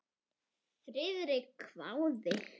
Friðrik hváði.